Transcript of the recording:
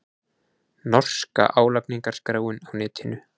Norska álagningarskráin á netinu